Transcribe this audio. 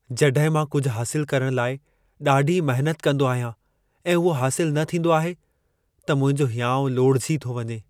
जॾहिं मां कुझु हासिलु करणु लाइ ॾाढी महिनत कंदो आहियां ऐं उहो हासिलु न थींदो आहे, त मुंहिंजो हिंयाउ लोढ़िजी थो वञे।